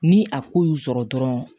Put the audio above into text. Ni a ko y'u sɔrɔ dɔrɔn